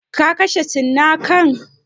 Ka kashe cinnakan?